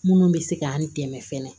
Minnu bɛ se ka an dɛmɛ fɛnɛ